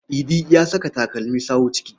Idi ya saka takalmin sawu ciki.